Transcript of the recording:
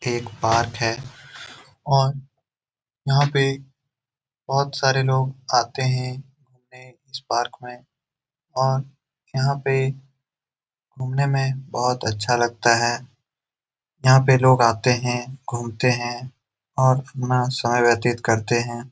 एक पार्क है और यहाँ पे बहुत सारे लोग आते है और इस पार्क मे घूमने मे बहुत अच्छा लगता है यहाँ पे लोग आते है घूमते है और अपना समय व्यतीत करते है।